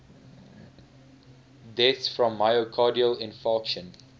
deaths from myocardial infarction